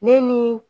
Ne ni